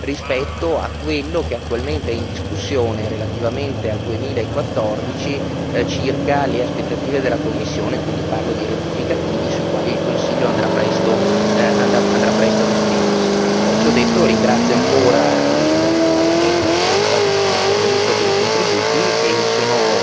rispetto a quello che attualmente è in discussione relativamente al 2014, circa le aspettative della Commissione, quindi parlo di rettificativi sui quali il Consiglio andrà presto ad esprimersi. Ciò detto, ringrazio ancora il Parlamento e tutti i deputati che sono intervenuti per i contributi e sono